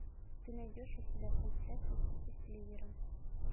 ты найдешь у себя трансляцию сити с ливером